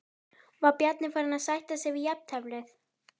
Var Bjarni farinn að sætta sig við jafnteflið?